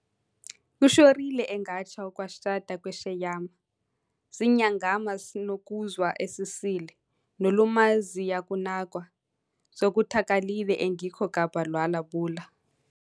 .Kushorile engaTsha uKhwaShada keShweyama zinyangama sinoKuzwa esisile nolumazi yakunakwa zokuthakalile engikho kabha lwa bula